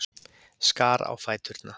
Skar á fæturna.